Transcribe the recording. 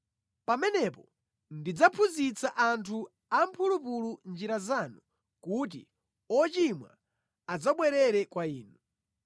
Pamenepo ndidzaphunzitsa anthu amphulupulu njira zanu kuti ochimwa adzabwerere kwa inu.